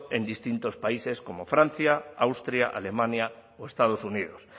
en distintos países como francia austria alemania o estados unidos